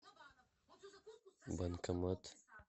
банкомат